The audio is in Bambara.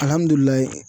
Alihamdulilayi